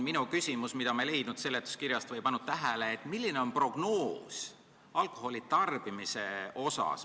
Ma ei leidnud seletuskirjast, milline on alkoholi tarbimise prognoos.